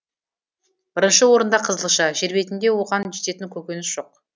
бірінші орында қызылша жер бетінде оған жететін көкөніс жоқ